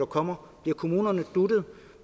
kommer bliver kommunerne duttet